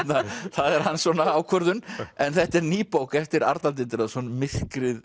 það er hans ákvörðun en þetta er ný bók eftir Arnald Indriðason myrkrið